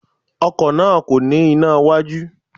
Ọkò náà kò ní iná iwájú